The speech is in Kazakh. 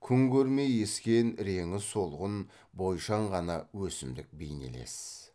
күн көрмей ескен реңі солғын бойшаң ғана өсімдік бейнелес